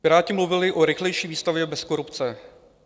Piráti mluvili o rychlejší výstavbě bez korupce.